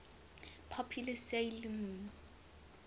popular 'sailor moon